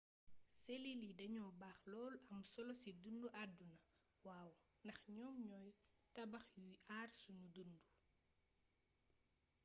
selil yi dañoo baax lool am solo si dundu aduna waw ndax ñoom ñoy tabax yuy àar sunu dundu